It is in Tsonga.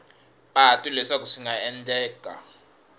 patu leswaku swi nga endleka